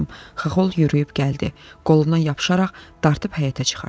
Xaxol yürüyüb gəldi, qolumdan yapışaraq dartıb həyətə çıxartdı.